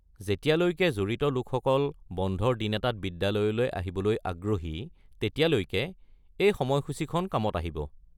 যেতিয়ালৈকে জড়িত লোকসকল বন্ধৰ দিন এটাত বিদ্যালয়লৈ আহিবলৈ আগ্ৰহী, তেতিয়ালৈকে এই সময়সূচীখন কামত আহিব।